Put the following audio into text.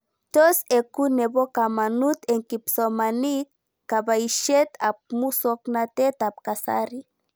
Tos eku nepo kamanut eng' kipsomanik kabaishet ab muswognatet ab kasari